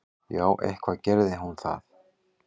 Já, eitthvað gerði hún það.